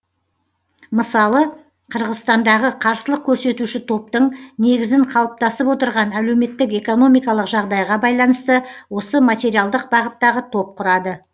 мысалы қырғызстандағы қарсылық көрсетуші топтың негізін қалыптасып отырған әлеуметтік экономикалық жағдайға байланысты осы материалдық бағыттағы топ құрады